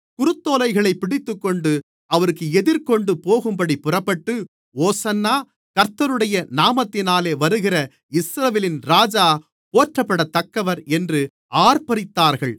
குருத்தோலைகளைப் பிடித்துக்கொண்டு அவருக்கு எதிர்கொண்டு போகும்படி புறப்பட்டு ஓசன்னா கர்த்தருடைய நாமத்தினாலே வருகிற இஸ்ரவேலின் ராஜா போற்றப்படத்தக்கவர் என்று ஆர்ப்பரித்தார்கள்